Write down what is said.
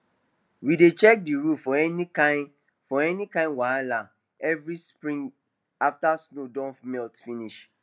we dey check the roof for any kain for any kain wahala every spring after snow don melt finish